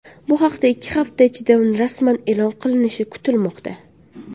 Bu haqda ikki hafta ichida rasman e’lon qilinishi kutilmoqda.